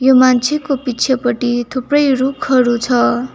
यो मान्छेको पिछेपटि थुप्रै रूखहरू छ।